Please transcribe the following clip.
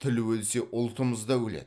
тіл өлсе ұлтымыз да өледі